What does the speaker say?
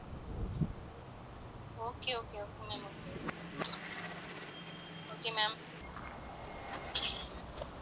okay okay okay ma'am okay okay ma'am